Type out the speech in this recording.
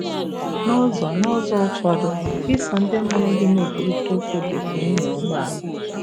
N'ụzọ N'ụzọ ụfọdụ, iso ndị mụrụ gị na-ekwurịta okwu dị ka ịnya um ụgbọ ala.